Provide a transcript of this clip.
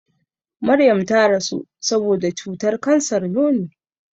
Maryam ta rasu saboda cutar kansar nono.